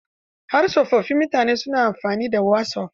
Har tsofaffin mutane na amfani da wasof.